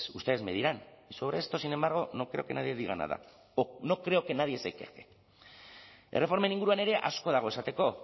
ustedes me dirán sobre esto sin embargo no creo que nadie diga nada no creo que nadie se queje erreformen inguruan ere asko dago esateko